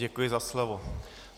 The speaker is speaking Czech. Děkuji za slovo.